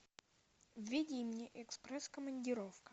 введи мне экспресс командировка